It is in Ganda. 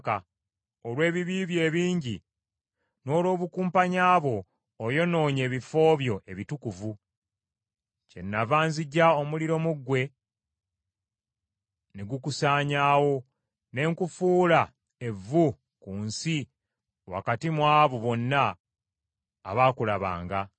Olw’ebibi byo ebingi n’olw’obukumpanya bwo oyonoonye ebifo byo ebitukuvu. Kyenava nziggya omuliro mu ggwe ne gukusaanyaawo, ne nkufuula evvu ku nsi wakati mu abo bonna abaakulabanga.